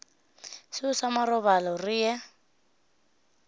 seo sa marobalo re ye